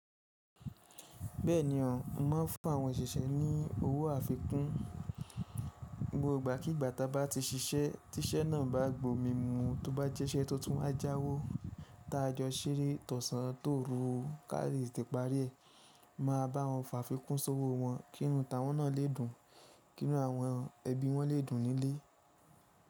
Bẹ́ẹ̀ni o, mo máa ń fún àwọn òṣìṣẹ́ ní owó àfikun. Gbógbo ìgbàkígbà ta bá ti ṣiṣẹ́, tí iṣẹ́ náà bá gbòmi mu, tó bá jẹ́ iṣẹ́ tó tún wá jáwó ta a jọ ṣeé tọ̀sán tórú, kále tete parí ẹ̀, máa báwọn fàfikun sówó wọn kínu ta wọ́n náà le dùn, kínu àwọn ẹbí wọn le dùn nílé.